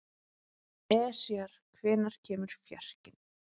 Esjar, hvenær kemur fjarkinn?